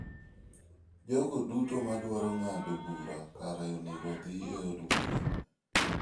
Jogo duto madwaro ng'ado bura kare onego odhi e od bura.